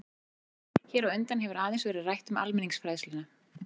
Hér á undan hefur aðeins verið rætt um almenningsfræðsluna.